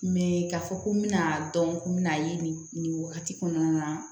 k'a fɔ ko n bɛna dɔn ko n bɛna ye nin nin wagati kɔnɔna na